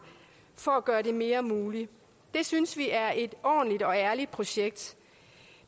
for at gøre det mere muligt det synes vi er et ordentligt og ærligt projekt